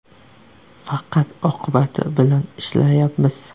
Faqat oqibati bilan ishlayapmiz.